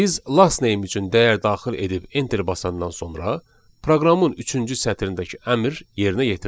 Biz last name üçün dəyər daxil edib enteri basandan sonra proqramın üçüncü sətrindəki əmr yerinə yetirilir.